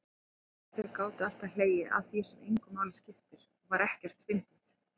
Hvað þeir gátu alltaf hlegið að því sem engu máli skipti og var ekkert fyndið.